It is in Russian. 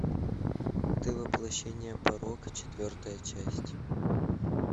ты воплощение порока четвертая часть